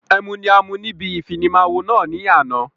Ẹmu ni a mu níbi ìfimawo náà ni àná